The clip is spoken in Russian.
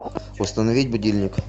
установить будильник